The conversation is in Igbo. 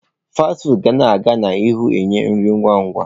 Fasti fụụdụ ga aga n'ihu na-enye nri ngwa ngwa.